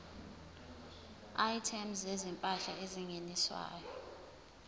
items zezimpahla ezingeniswayo